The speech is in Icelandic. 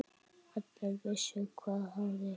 Allir vissu hvað hafði gerst.